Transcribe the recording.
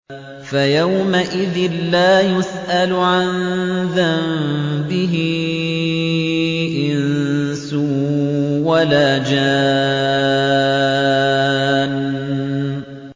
فَيَوْمَئِذٍ لَّا يُسْأَلُ عَن ذَنبِهِ إِنسٌ وَلَا جَانٌّ